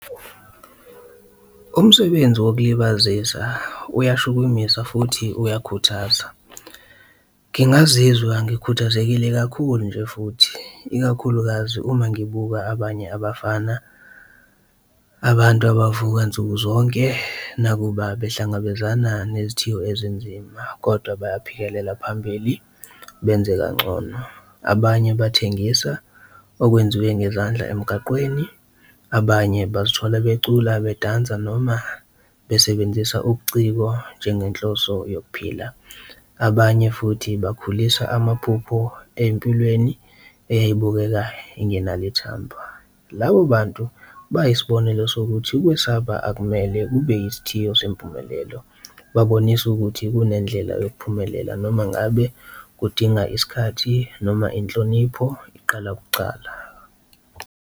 Umsebenzi wokulibazisa uyashukumisa futhi uyakhuthaza ngingazizwa ngikhuthazekile kakhulu nje futhi ikakhulukazi uma ngibuka abanye abafana, abantu abavuka nsuku zonke nakuba behlangabezana nezithiyo ezinzima kodwa bayaphikelela phambili benze kangcono. Abanye bathengisa okwenziwe ngezandla emgaqweni, abanye ubathole becula, badanse noma besebenzisa ubuciko njengenhloso yokuphila, abanye futhi bakhuliswa amaphupho ey'mpilweni eyibukeka y'ngenalo uthando. Labo bantu bayisibonelo sokuthi ukwesaba akumele kube isithiyo sempumelelo, babonisa ukuthi kunendlela yempumelelo noma ngabe udinga isikhathi noma inhlonipho iqala kucala.